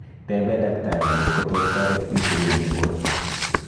Tepee daktari kotkotos taret insulin eng borto